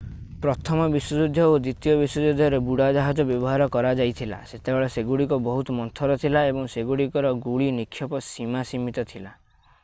ପ୍ରଥମ ବିଶ୍ୱଯୁଦ୍ଧ ଓ ଦ୍ୱିତୀୟ ବିଶ୍ୱଯୁଦ୍ଧରେ ବୁଡ଼ାଜାହାଜ ବ୍ୟବହାର କରାଯାଇଥିଲା ସେତେବେଳେ ସେଗୁଡ଼ିକ ବହୁତ ମନ୍ଥର ଥିଲା ଏବଂ ସେଗୁଡ଼ିକର ଗୁଳି ନିକ୍ଷେପ ସୀମା ସୀମିତ ଥିଲା